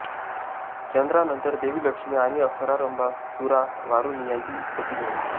चंद्रानंतर देवी लक्ष्मी आणि अप्सरा रंभा सुरा वारूणी यांची उत्पत्ती झाली